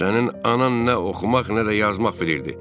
Sənin anan nə oxumaq, nə də yazmaq bilirdi.